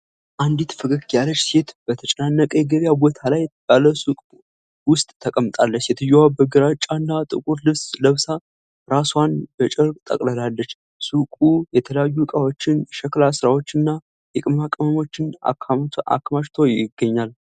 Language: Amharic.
አንዲት ፈገግ ያለች ሴት በተጨናነቀ የገበያ ቦታ ላይ ባለ ሱቅ ውስጥ ተቀምጣለች። ሴትየዋ በግራጫና ጥቁር ልብስ ለብሳ፣ ራስዋን በጨርቅ ጠቅልላለች። ሱቁ የተለያዩ ዕቃዎችን፣ የሸክላ ሥራዎችንና የቅመማ ቅመሞችን አከማችቶ ይገኛል።